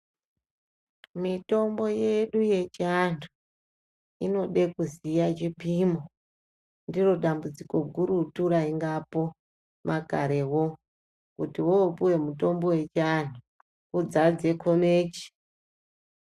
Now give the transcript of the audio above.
Mitombo yedu yechindau inoda kuziya chipimo ndiri dambudziko gurutu raingapo makarewo kuti wopuwa mutombo wechiantu udzadze komeche.